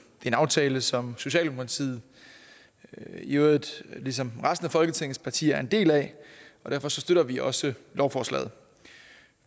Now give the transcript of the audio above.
en aftale som socialdemokratiet i øvrigt ligesom resten af folketingets partier er en del af og derfor støtter vi også lovforslaget